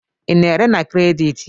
Ị na-ere na kredit?